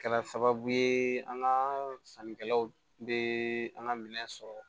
Kɛra sababu ye an ka sannikɛlaw bɛ an ka minɛn sɔrɔ